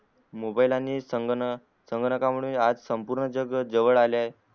mobile आणि संकनकामुळे आज संपूर्ण जग जवळ आले आहे